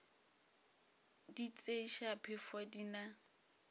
di tšeiša phefo di na